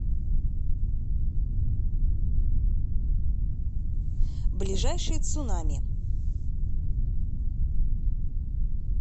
ближайший цунами